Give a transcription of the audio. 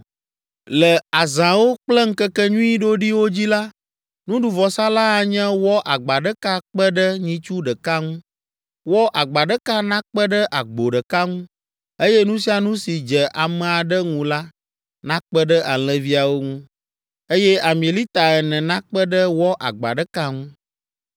“ ‘Le azãwo kple ŋkekenyui ɖoɖiwo dzi la, nuɖuvɔsa la anye wɔ agba ɖeka kpe ɖe nyitsu ɖeka ŋu, wɔ agba ɖeka nakpe ɖe agbo ɖeka ŋu, eye nu sia nu si dze ame aɖe ŋu la, nakpe ɖe alẽviawo ŋu, eye ami lita ene nakpe ɖe wɔ agba ɖeka ŋu.